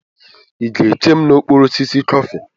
Ị ga-eche m n'okpuru osisi kọfị?